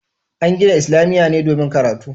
An gina islamiyya ne domin karatu